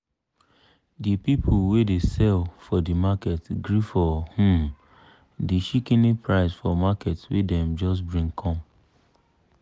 di people wey dey sell for di market gree for um di shikini price for market wey dem just bring come.